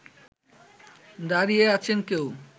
দাড়িয়ে আছেন কেউ